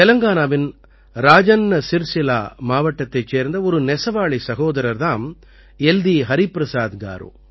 தெலங்கானாவின் ராஜன்னா சிர்சில்லா மாவட்டத்தைச் சேர்ந்த ஒரு நெசவாளிச் சகோதரர் தாம் எல்தீ ஹரிபிரசாத் காரு